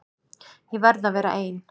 Ég verð að vera ein.